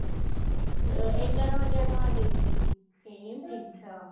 ଏ ଏଗାର ହଜାର ଟଙ୍କା ଦେଇକି same ଜିନିଷ